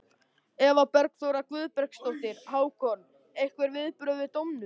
Eva Bergþóra Guðbergsdóttir: Hákon, einhver viðbrögð við dómnum?